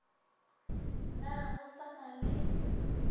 na go sa na le